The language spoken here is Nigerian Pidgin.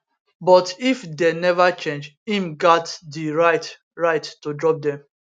but if dey neva change im gat di right right to drop dem